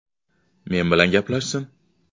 Men bilan gaplashsin.